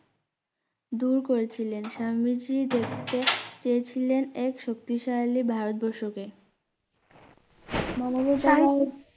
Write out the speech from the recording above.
দূর করেছিলেন স্বামীজী দেখতে চেয়েছিলেন এক শক্তিশালী ভারতবর্ষকে